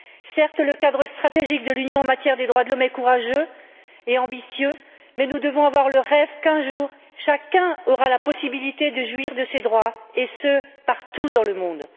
Certes, le cadre stratégique de l'Union en matière de droits de l'homme est courageux et ambitieux, mais nous devons avoir le rêve qu'un jour chacun aura la possibilité de jouir de ces droits partout dans le monde.